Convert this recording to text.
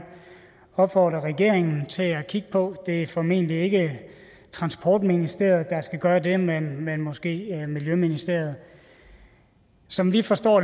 opfordre regeringen til at kigge på det er formentlig ikke transportministeriet der skal gøre det man man måske miljøministeriet som vi forstår